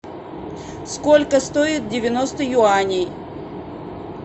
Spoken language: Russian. сколько стоит девяносто юаней